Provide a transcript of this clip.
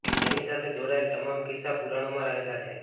જેની સાથે જોડાયેલા તમામ કિસ્સા પુરાણોમાં રહેલા છે